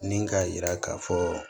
Ni k'a yira k'a fɔ